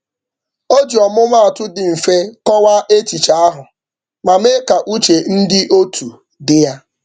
O ji ọmụmatụ dị mfe kọwaa echiche ahụ ma mee ka uche ndị otu dị ya.